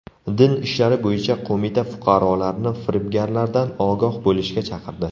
Din ishlari bo‘yicha qo‘mita fuqarolarni firibgarlardan ogoh bo‘lishga chaqirdi.